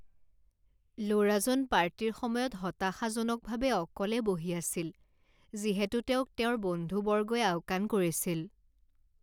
ল'ৰাজন পাৰ্টিৰ সময়ত হতাশাজনকভাৱে অকলে বহি আছিল যিহেতু তেওঁক তেওঁৰ বন্ধুবৰ্গই আওকাণ কৰিছিল।